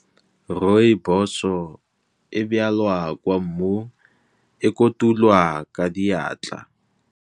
Rooibos-o e jalwa kwa mmu e kotulwa ka diatla.